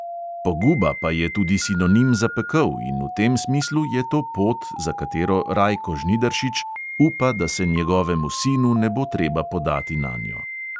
Poguba pa je tudi sinonim za pekel in v tem smislu je to pot, za katero rajko žnidaršič upa, da se njegovemu sinu ne bo treba podati nanjo.